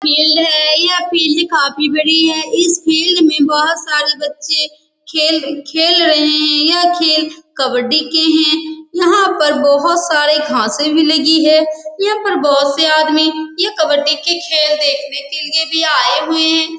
Field है यह field काफी बड़ी है इस फील्ड में बहुत सारे बच्चे खेल रहे हैं यह खेल कबड्डी के है यहाँ पर बहुत सारे घासे भी लगी हैं यहाँ पर बहुत से आदमी यह कब्बडी के खेल देखने के लिए भी आए हुए हैं ।